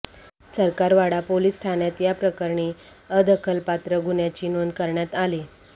Sarkarwada police ठाण्यात या प्रकरणी अदखलपात्र गुन्ह्याची नोंद करण्यात आली